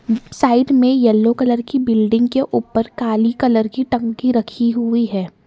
Side में yellow colour की building के ऊपर काली कलर की टंकी रखी हुई है।